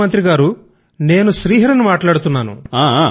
ప్రధాన మంత్రి గారూ నేను శ్రీహరి ని మాట్లాడుతున్నాను